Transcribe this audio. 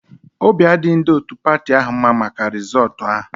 Obi adịghị ndị otu patị ahụ mma maka rịzọọtu ahụ